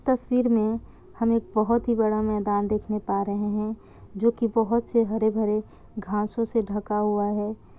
तस्वीर मे हमे बहुत ही बड़ा मेदान देखने पा रहै है जो की बहुत से हरे-भरे घासो से ढका हुआ है।